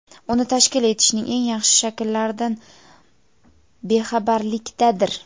uni tashkil etishning eng yaxshi shakllaridan bexabarlikdadir.